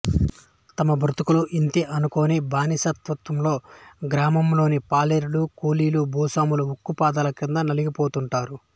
తమ బ్రతుకులు ఇంతే అనుకొనే బానిస మనస్తత్వంతో గ్రామంలోని పాలేరులు కూలీలు భూస్వాముల ఉక్కు పాదాల క్రింద నలిగి పోతుంటారు